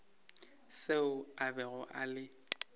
seo a bego a le